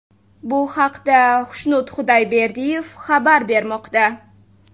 Bu haqda Xushnud Xudoyberdiyev xabar bermoqda .